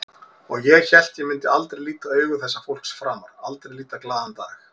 Og ég hélt ég myndi aldrei líta augu þessa fólks framar, aldrei líta glaðan dag.